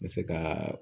N bɛ se ka